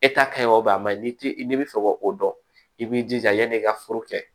a man ɲi ni ti i n'i bɛ fɛ ka o dɔn i b'i jija yan'i ka foro kɛ